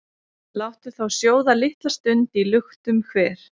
Láttu þá sjóða litla stund í luktum hver,